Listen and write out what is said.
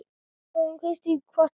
Nú hefur Kristín kvatt okkur.